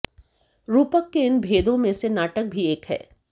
रूपक के इन भेदों में से नाटक भी एक है